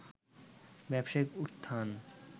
ব্যবসায়িক উত্থান